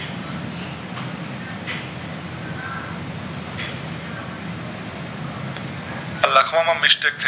લખવા માં mistake થઈ